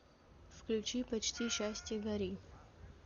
включи почти счастье гори